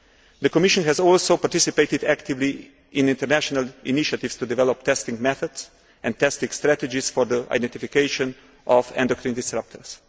The Commission has also participated actively in international initiatives to develop testing methods and testing strategies for the identification of endocrine disruptors.